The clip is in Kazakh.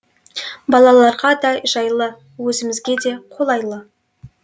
балаларға да жайлы өзімізге де қолайлы